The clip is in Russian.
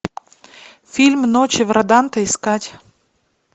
фильм ночи в роданте искать